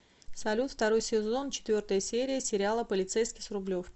салют второй сезон четвертая серия сериала полицейский с рублевки